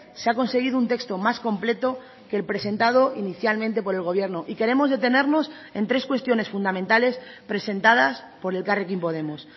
se ha conseguido un texto más completo que el presentado inicialmente por el gobierno y queremos detenernos en tres cuestiones fundamentales presentadas por elkarrekin podemos